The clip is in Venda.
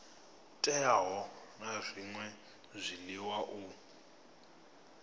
teaho na zwṅwe zwiḽiwa u